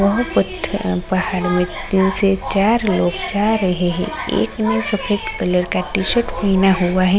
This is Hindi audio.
बहौत पत्थर हैं पहाड़ में तीन से चार लोग जा रहे हैं एक ने सफेद कलर का टी-शर्ट पहना हुआ है।